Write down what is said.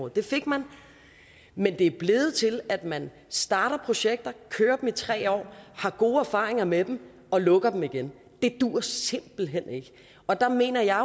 det fik man men det er blevet til at man starter projekter kører dem i tre år har gode erfaringer med dem og lukker dem igen det duer simpelt hen ikke og der mener jeg